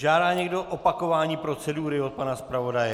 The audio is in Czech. Žádá někdo opakování procedury od pana zpravodaje?